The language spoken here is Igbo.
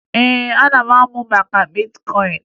Ee, ana m amụ maka bitkọyịn